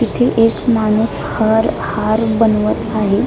इथे एक माणूस हर हार बनवत आहे.